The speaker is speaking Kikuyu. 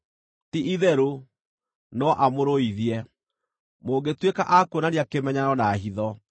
Ti-itherũ no amũrũithie mũngĩtuĩka a kuonania kĩmenyano na hitho.